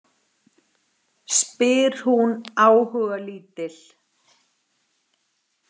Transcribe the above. Spyr hún áhugalítil.